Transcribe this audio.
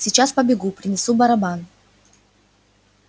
сейчас побегу принесу барабан